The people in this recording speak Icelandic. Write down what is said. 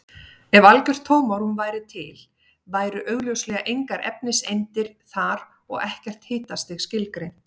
Ef algjört tómarúm væri til væru augljóslega engar efniseindir þar og ekkert hitastig skilgreint.